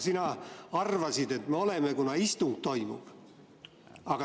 Sina arvasid, et me oleme, kuna istung toimub.